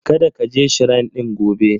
Kada ka je Shrine ɗin gobe.